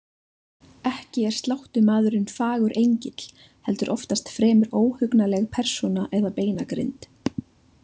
Ekki er sláttumaðurinn fagur engill, heldur oftast fremur óhugnanleg persóna eða beinagrind.